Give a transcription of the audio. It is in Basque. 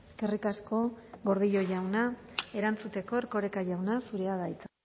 eskerrik asko gordillo jauna erantzuteko erkoreka jauna zurea da hitza